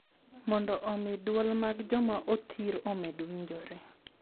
Mondo omi dwol mag joma othir omed winjoro